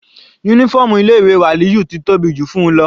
Uniform ilé ìwé Waliyu ti tóbi jù fún-un lọ.